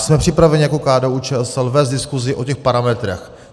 Jsme připraveni jako KDU-ČSL vést diskuzi o těch parametrech.